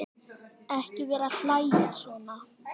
Ekki vera að hlæja svona.